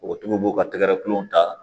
O tigiw b'u ka tɛgɛrɛ kulon ta